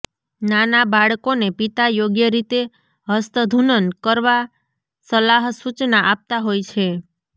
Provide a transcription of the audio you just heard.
નાના બાળકોને પિતા યોગ્ય રીતે હસ્તધૂનન કરવા સલાહસૂચના આપતા હોય છે